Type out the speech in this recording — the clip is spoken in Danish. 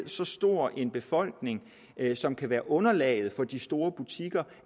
så stor en befolkning som kan være underlaget for de store butikker